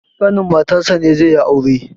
ƙanin matarsa ne zai yi aure